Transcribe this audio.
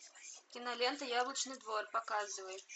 кинолента яблочный двор показывай